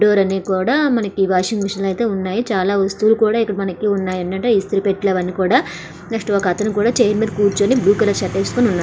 కూడా వాషింగ్ మిషన్లు అయితే ఉన్నాయి. చాలా వస్తువులు ఇక్కడ మనకి ఉన్నాయన్నట్టుగా ఇస్త్రీ పెట్టి నెక్స్ట్ ఒక అతను కూడా చైర్ మీద కూర్చుని బ్లూ కలర్ షర్ట్ వేసుకొని ఉన్నాడు.